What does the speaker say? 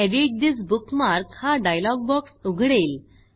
edit this bookmark हा dialogue box उघडेल